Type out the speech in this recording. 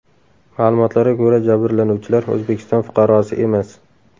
Ma’lumotlarga ko‘ra, jabrlanuvchilar O‘zbekiston fuqarosi emas.